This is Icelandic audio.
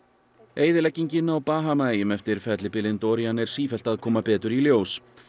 eyðileggingin á Bahamaeyjum eftir fellibylinn Dorian er sífellt að koma betur í ljós